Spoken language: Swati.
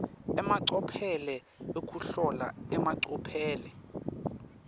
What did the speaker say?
emacophelo ekuhlola emacophelo